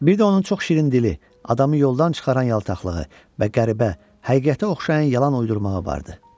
Bir də onun çox şirin dili, adamı yoldan çıxaran yaltaqlığı və qəribə, həqiqətə oxşayan yalan uydurmağı vardı.